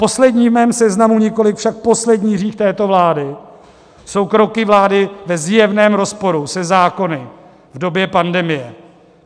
Poslední v mém seznamu, nikoliv však poslední hřích této vlády, jsou kroky vlády ve zjevném rozporu se zákony v době pandemie.